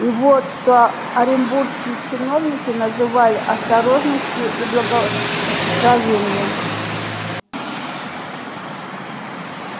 и вот что оренбургские чиновники называли осторожностью и благоразумием